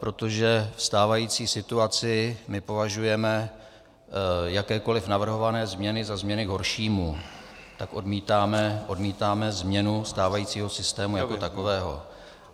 Protože ve stávající situaci my považujeme jakékoliv navrhované změny za změny k horšímu, tak odmítáme změnu stávajícího systému jako takového.